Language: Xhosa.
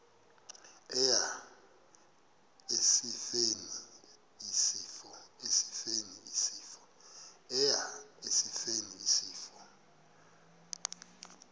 eya esifeni isifo